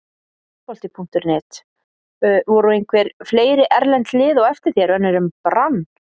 Fótbolti.net: Voru einhver fleiri erlend lið á eftir þér, önnur en Brann?